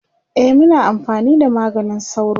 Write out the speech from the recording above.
e Muna amfani da maganin sauro